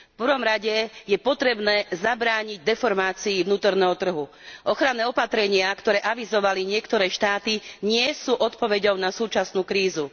V prvom rade je potrebné zabrániť deformácii vnútorného trhu. Ochranné opatrenia, ktoré avizovali niektoré štáty, nie sú odpoveďou na súčasnú krízu.